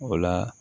O la